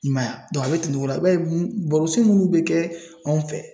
I m'a ye dɔn a be tɛmɛ o la i b'a ye barosen munnu be kɛ anw fɛ